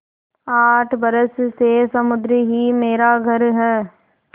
आठ बरस से समुद्र ही मेरा घर है